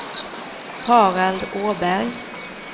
Harald Åberg